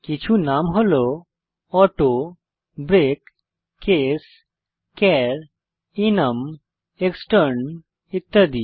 কিছু নাম হল auto break case char enum extern ইত্যাদি